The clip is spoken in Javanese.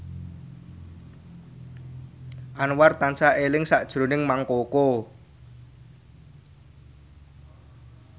Anwar tansah eling sakjroning Mang Koko